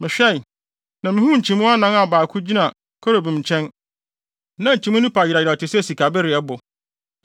Mehwɛe, na mihuu nkyimii anan a baako biara gyina kerubim nkyɛn, na nkyimii no pa yerɛw yerɛw te sɛ sikabereɛbo.